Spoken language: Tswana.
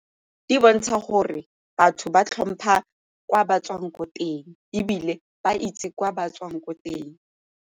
Di bontsha gore batho ba tlhompha kwa ba tswang ko teng ebile ba itse kwa ba tswang ko teng.